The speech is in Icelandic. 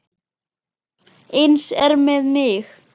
Eins er með mig.